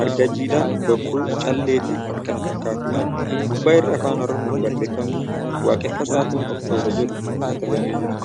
marga jiidhaa, bokkuu, callee fi kan kana fakkaatudha. Gubbaa irraa Afaan Oromoon barreeffamni ' Waaqeeffataa ta'uun ofta'uudha ' jedhu katabamee jira.